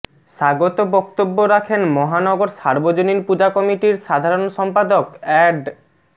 স্বাগত বক্তব্য রাখেন মহানগর সার্বজনীন পূজা কমিটির সাধারণ সম্পাদক অ্যাড